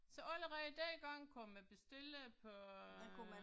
Så allerede dengang kunne man bestille på øh